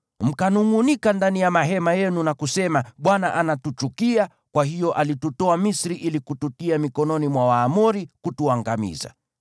Mkanungʼunika ndani ya mahema yenu na kusema, “ Bwana anatuchukia, kwa hiyo alitutoa Misri ili kututia mikononi mwa Waamori kutuangamiza.